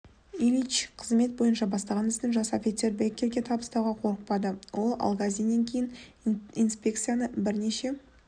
ильич қызмет бойынша бастаған ісін жас офицер беккерге табыстауға қорықпады ол алгазиннен кейін инспекцияны бірнеше